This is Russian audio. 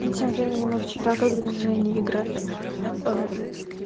тем временем мы вчера когда с женей играли